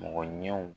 Mɔgɔ ɲɛw